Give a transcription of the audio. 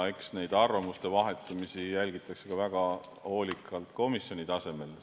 Eks neid arvamuste vahetamisi jälgitakse väga hoolikalt ka komisjoni tasemel.